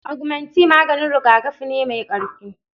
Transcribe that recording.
Augmentine maganin rigakafi ne mai ƙarfi